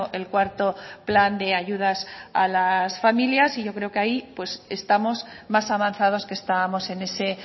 el cuarto plan de ayudas a las familias y yo creo que ahí pues estamos más avanzados que estábamos en ese